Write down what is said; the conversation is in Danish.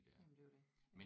Jamen det er jo det